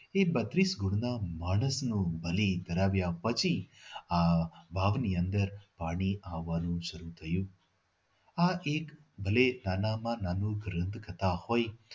એ બત્રીસ કુળના માણસનું બલી કરાવ્યા પછી આ વાવની અંદર પાણી આવવાનું શરુ થયું આ એક ભલે નાના માં નાનું દંત કથા હોય